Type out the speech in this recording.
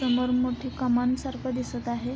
समोर मोठी कमान सारखं दिसत आहे.